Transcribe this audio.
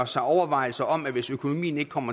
sig overvejelser om at hvis økonomien ikke kom